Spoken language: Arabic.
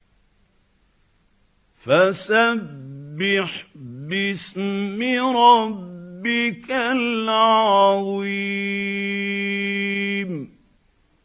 فَسَبِّحْ بِاسْمِ رَبِّكَ الْعَظِيمِ